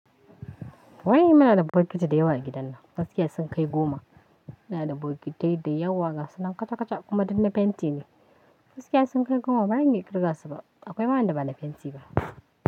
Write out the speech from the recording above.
Wai ina da bokiti da yawa a gidan nan. Faskiya sun kai goma. Ina da bokiti da yawa, gasa nan kaca-kaca kuma duk na fenti ne. Faskiya sun kai goma bana iya ƙirga su ba. Akwai ma wan da ba na fenti ba.